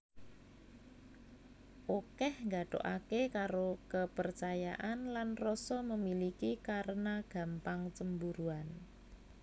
Okeh nggathukake karo kepercayaan dan rasa memiliki karena gampang cemburuan